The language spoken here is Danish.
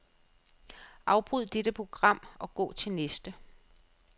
Afbryd dette program og gå til næste.